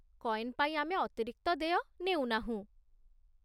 Coin ପାଇଁ ଆମେ ଅତିରିକ୍ତ ଦେୟ ନେଉନାହୁଁ।